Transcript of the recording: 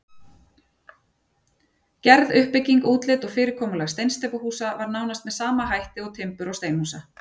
Gerð, uppbygging, útlit og fyrirkomulag steinsteypuhúsa var nánast með sama hætt og timbur- og steinhúsa.